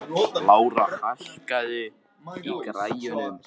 Lára, hækkaðu í græjunum.